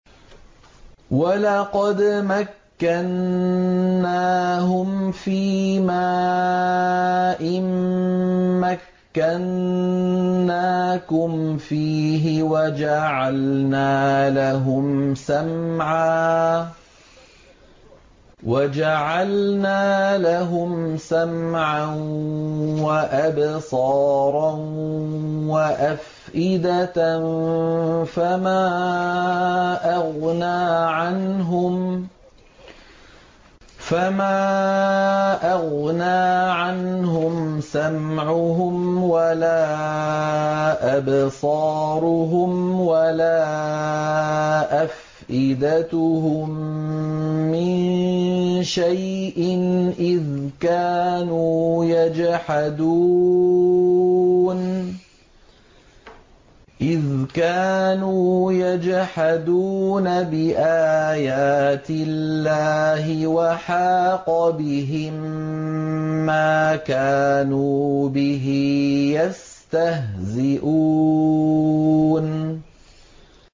وَلَقَدْ مَكَّنَّاهُمْ فِيمَا إِن مَّكَّنَّاكُمْ فِيهِ وَجَعَلْنَا لَهُمْ سَمْعًا وَأَبْصَارًا وَأَفْئِدَةً فَمَا أَغْنَىٰ عَنْهُمْ سَمْعُهُمْ وَلَا أَبْصَارُهُمْ وَلَا أَفْئِدَتُهُم مِّن شَيْءٍ إِذْ كَانُوا يَجْحَدُونَ بِآيَاتِ اللَّهِ وَحَاقَ بِهِم مَّا كَانُوا بِهِ يَسْتَهْزِئُونَ